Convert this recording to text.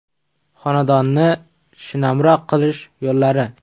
Xonadonni shinamroq qilish yo‘llari.